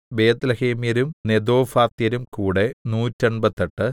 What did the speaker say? ബേത്ത്ലേഹേമ്യരും നെതോഫാത്യരും കൂടെ നൂറ്റെൺപത്തെട്ട്